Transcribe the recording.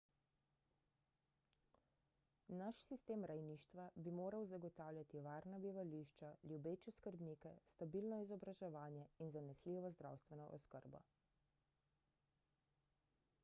naš sistem rejništva bi moral zagotavljati varna bivališča ljubeče skrbnike stabilno izobraževanje in zanesljivo zdravstveno oskrbo